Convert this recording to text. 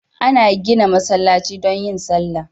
Ana gida masallaci don yin sallah